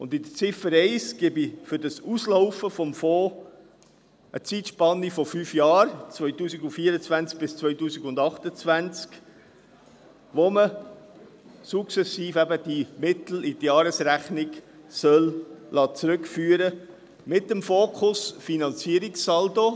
In Ziffer 1 gebe ich für das Auslaufen des Fonds eine Zeitspanne von fünf Jahren vor, 2024 bis 2028, während der man die Mittel sukzessive in die Jahresrechnung zurückführen soll, mit dem Fokus Finanzierungssaldo.